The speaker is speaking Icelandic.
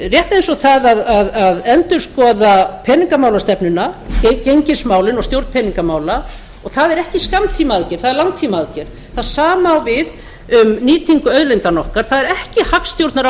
rétt eins og það að endurskoða peningamálastefnuna gengismálin og stjórn peningamála og það er ekki skammtímaaðgerð það er langtímaaðgerð það sama á við um nýtingu auðlindanna okkar það er ekki